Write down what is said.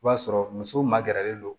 I b'a sɔrɔ musow magɛrɛlen don